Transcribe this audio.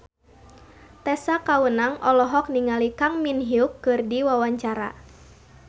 Tessa Kaunang olohok ningali Kang Min Hyuk keur diwawancara